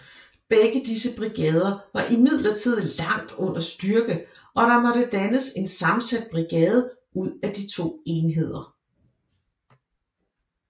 Begge disse brigader var imidlertid langt under styrke og der måtte dannes en sammensat brigade ud af de to enheder